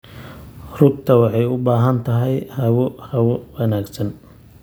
Rugta waxay u baahan tahay hawo hawo wanaagsan.